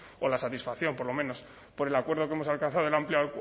o la satisfacción por lo menos por el acuerdo que hemos alcanzado el amplio